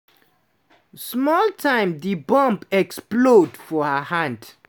small time di bomb explode for her hand.